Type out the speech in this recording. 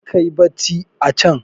karka yi bacci a can!